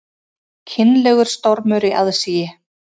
Kynlegur stormur í aðsigi